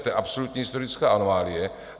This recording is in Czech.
To je absolutní historická anomálie.